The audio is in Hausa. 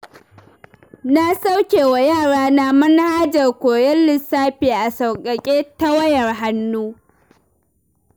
Na saukewa yarana manhajar koyon lissafi a sauƙaƙe ta wayar hannu.